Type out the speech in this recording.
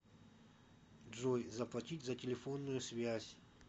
джой заплатить за телефонную связь